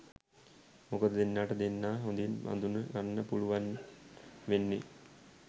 මොකද දෙන්නට දෙන්නා හොඳින් අඳුන ගන්න පුළුවන් වෙන්නෙ